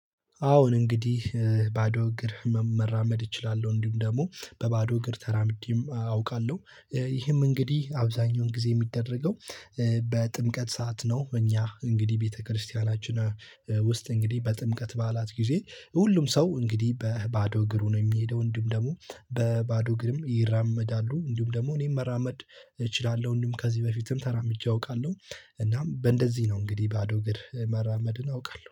አዎን እንግዲህ እ ባዶ እግር መ መራመድ እችላለሁ እንዲሁም ደግሞ በባዶ እግር ተራምጄም አውቃለሁ ይህም እንግዲህ አብዛኛውን ጊዜ የሚደረገው እ በጥምቀት ሰዓት ነው። እኛ እንግዲህ ቤተክርስቲያናችን ውስጥ እንግዲህ በጥምቀት በዓላት ጊዜ ሁሉም ሰው እንግዲህ በባዶ እግሩ ነው የሚሄደው። እንዲሁም ደግሞ በባዶ እግርም ይራመዳሉ እንዲሁም ደግሞ እኔም መራመድ እችላለሁ እንዲሁም ከዚህ በፊትም ተራምጄ አውቃለሁ። እናም በእንደዚህ ነው እንግዲህ ባዶ እግር መራመድን አውቃለሁ